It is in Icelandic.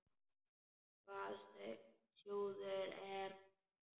Hvaða sjóður er nú þetta?